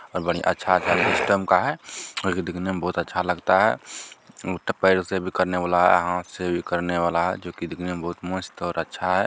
--और बड़ी अच्छा-अच्छा सिस्टम का है जो कि दिखने में बहोत अच्छा लगता है उत्ते पैर से भी करने वाला है हाथ से भी करने वाला है जो की दिखने में बहोत मस्त और अच्छा है।